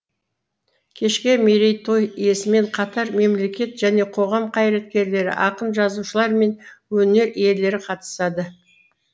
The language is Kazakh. кешке мерейтой иесімен қатар мемлекет және қоғам қайраткерлері ақын жазушылар мен өнер иелері қатысады